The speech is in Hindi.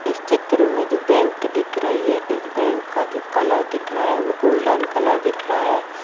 इस चित्र मे जो बैंक दिख रही है इस बैंक का जो कलर दिख रहा है वो गोल्डन कलर दिख रहा है।